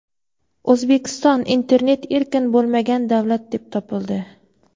O‘zbekiston internet erkin bo‘lmagan davlat deb topildi.